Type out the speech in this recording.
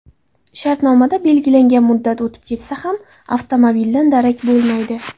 Shartnomada belgilangan muddat o‘tib ketsa ham avtomobildan darak bo‘lmaydi.